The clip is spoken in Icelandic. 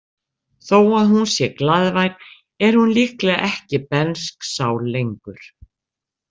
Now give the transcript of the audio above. Þó að hún sé glaðvær er hún líklega ekki bernsk sál lengur.